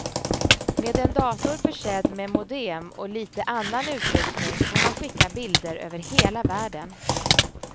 Med en dator försedd med modem och lite annan utrustning kan man skicka bilder över hela världen.